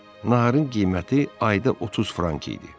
Naharın qiyməti ayda 30 frank idi.